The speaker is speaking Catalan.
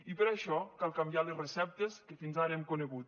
i per això cal canviar les receptes que fins ara hem conegut